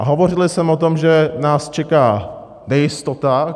A hovořil jsem o tom, že nás čeká nejistota.